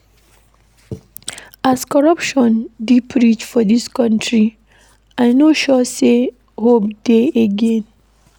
As corruption deep reach for dis country, I no sure sey hope dey again.